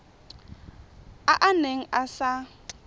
a a neng a sa